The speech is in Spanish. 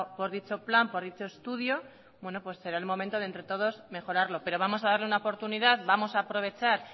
por dicho plan por dicho estudio será el momento de entre todos mejorarlo pero vamos a darle una oportunidad vamos a aprovechar